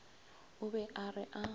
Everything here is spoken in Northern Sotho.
o be a re a